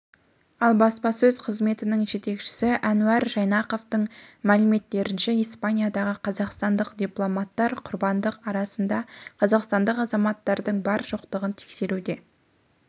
ал баспасөз қызметінің жетекшісі әнуар жайнақовтың мәліметтерінше испаниядағы қазақстандық дипломаттар құрбандар арасында қазақстандық азаматтардың бар-жоқтығын тексеруде